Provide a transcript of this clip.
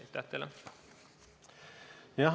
Aitäh teile!